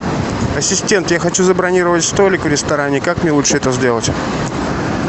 ассистент я хочу забронировать столик в ресторане как мне лучше это сделать